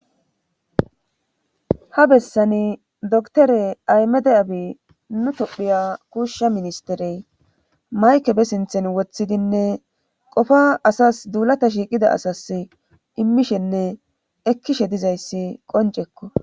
ha bessani doktore aymede abi nu tophiya kuushsha ministerey mayke be sinthen woththidinne qofa asas duulata shiiqida asas immishenne ekkishe dizayssi qoncekko